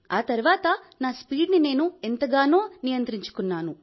ఆ తర్వాత నా స్పీడ్ని ఎంతగానో నియంత్రించుకున్నాను